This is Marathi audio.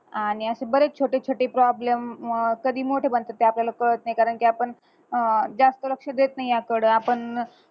आणि बरेच अशे छोटे छोटे problem अह कधी मोठे बनतात ते आपल्याला काळात नाही कारण कि आपण अं जास्त लक्ष देत नाही याकडं आपण